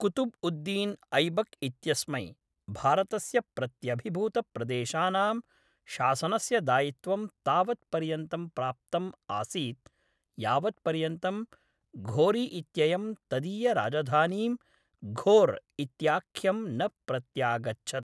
कुतुब् उद् दीन् ऐबक् इत्यस्मै, भारतस्य प्रत्यभिभूतप्रदेशानां शासनस्य दायित्वं तावत् पर्यन्तं प्राप्तम् आसीत् यावत् पर्यन्तं घोरी इत्ययं तदीयराजधानीं घोर् इत्याख्यं न प्रत्यागच्छत्।